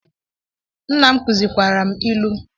Nna m kuzikwara m ilu